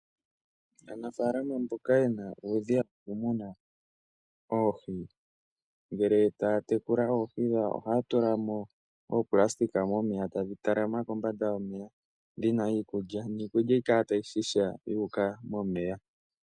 Aanafalama mboka yena uudhiya woku muna oohi ngele taya tekula oohi dhawo ohaya tula mo oopulasitika momeya tadhi tala ma kombanda yomeya dhina iikulya, niikulya ohayi kala tayi shisha yuuka momeya.